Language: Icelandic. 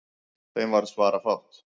Þeim varð svarafátt.